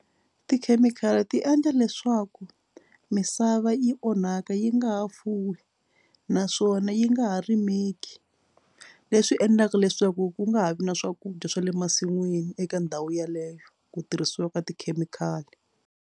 Tikhemikhali ti endla leswaku misava yi onhaka yi nga ha fuwi naswona yi nga ha rimeki. Leswi endlaka leswaku ku nga ha vi na swakudya swa le masin'wini eka ndhawu yeleyo ku tirhisiwa ka tikhemikhali.